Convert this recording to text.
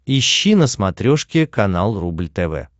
ищи на смотрешке канал рубль тв